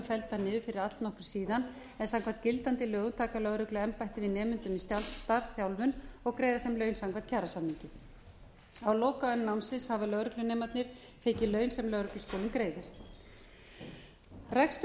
felldar niður fyrir allnokkru síðan en samkvæmt gildandi lögum taka lögregluembættin nemendur í starfsþjálfun og greiða þeim laun samkvæmt kjarasamningi á lokaönn námsins hafa lögreglunemarnir tekið laun sem lögregluskólinn greiðir rekstur